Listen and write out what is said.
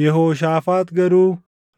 Yehooshaafaax garuu,